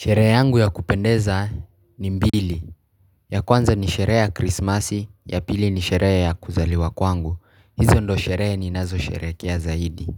Sherehe yangu ya kupendeza ni mbili. Ya kwanza ni sherehe ya krismasi. Ya pili ni sherehe ya kuzaliwa kwangu. Hizo ndizoo sherehe ninazo sherehekea zaidi